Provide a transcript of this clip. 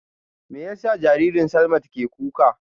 Me yasa jaririn Slamat ke kuka?